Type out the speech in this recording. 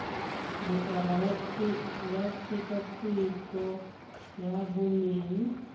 lekala la tshekatsheko ya boleng